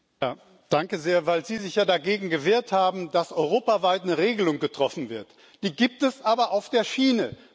Frau Kollegin, weil Sie sich ja dagegen gewehrt haben, dass europaweit eine Regelung getroffen wird Die gibt es aber auf der Schiene.